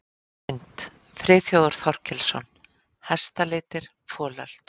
Mynd: Friðþjófur Þorkelsson: Hestalitir- folöld.